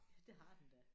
Ja det har den da